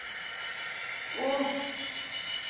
å